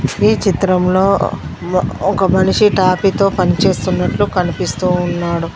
ఈ చిత్రంలో ఒక మనిషి తాపీతో పని చేస్తున్నట్లు కనిపిస్తూ ఉన్నాడు.